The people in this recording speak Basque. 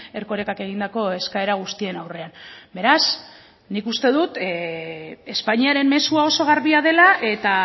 erkorekak egindako eskaera guztien aurrean beraz nik uste dut espainiaren mezua oso garbia dela eta